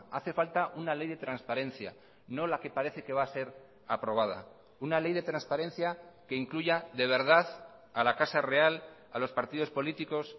hace falta una ley de transparencia no la que parece que va a ser aprobada una ley de transparencia que incluya de verdad a la casa real a los partidos políticos